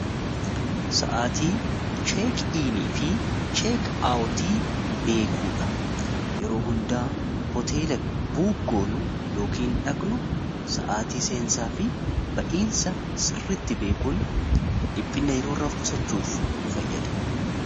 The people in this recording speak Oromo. sa'aatii cheek iinii fi cheek aawtii beekuudha. yeroo hundaa hoteela buuk goonu yookin dhaqnu sa'aatii seensaa fi ba'iinsa sirritti beekuun dhiphinna yeroo irraa of qusachuuf nu fayyada.